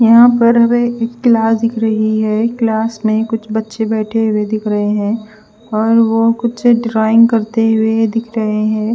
यहा पर हमे एक क्लास दिख रही है क्लास में कुछ बचे बेठे हुए दिख रहे है और वो कुछ ड्राविंग करते हुए दिख रहे है।